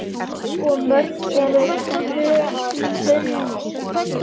Og mörg eru vötnin.